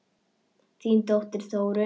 Þín dóttir, Þórunn.